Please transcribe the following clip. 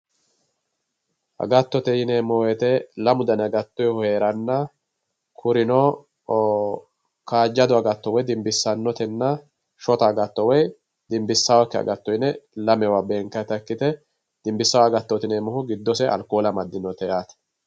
Agattote yineemmo woyte lamu danni agattohu danni heeranna kurino kaajjado agatto woyi dinbisanotenna woyi shotta agatto woyi dinbisakki agatto yinne lamewa beenkannitta ikkite ,dibisano agattoti yineemmoti giddose arkole amadinote yaate.